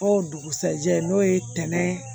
O dugusajɛ n'o ye tɛnɛn